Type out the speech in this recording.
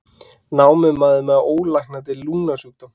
Námumaður með ólæknandi lungnasjúkdóm